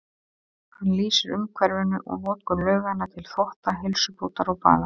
Hann lýsir umhverfinu og notkun lauganna til þvotta, heilsubótar og baða.